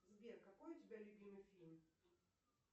сбер какой у тебя любимый фильм